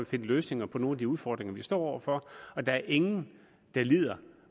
finder løsninger på nogle af de udfordringer vi står over for der er ingen der lider